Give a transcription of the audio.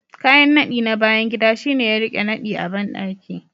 Kayan nadi na bayan gida shine ya rike nadi a bandaki